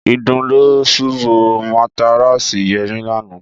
Ìdun ló ṣù bo mátáráàsì Yẹmí lánàá